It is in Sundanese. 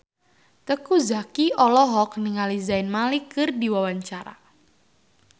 Teuku Zacky olohok ningali Zayn Malik keur diwawancara